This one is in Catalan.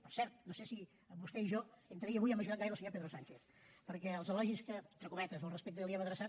per cert no sé si vostè i jo entre ahir i avui hem ajudat gaire el senyor pedro sánchez perquè els elogis que entre cometes al respecte li hem adreçat